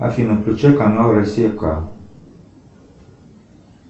афина включи канал россия к